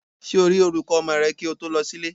Ṣé o rí olùkọ́ ọmọ rẹ kí o tó lọ sí ilé?